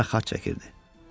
üzünə xat çəkirdi.